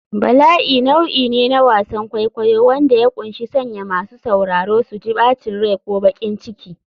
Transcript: Bala'i nau'i ne na wasan kwaikwayo wanda ya ƙunshi sanya masu sauraro su ji bacin rai ko baƙin ciki.